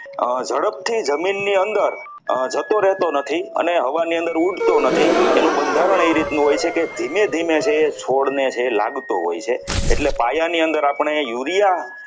ઝડપથી જમીનની અંદર જતો રહેતો નથી અને હવાની અંદર ઉડતું નથી એનું બંધારણ એ રીતનું હોય છે કે ધીમે ધીમે છે છોડને એ લાગતો હોય છે એટલે પાયાની અંદર આપણે urea